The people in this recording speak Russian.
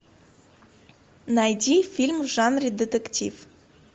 найди фильм в жанре детектив